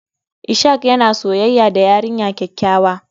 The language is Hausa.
Ishak yana soyayya da yarinya kyakkyawa.